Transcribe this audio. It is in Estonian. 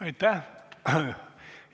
Aitäh!